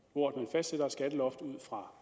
fastsætter et skatteloft ud fra